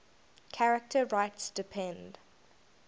charter rights depend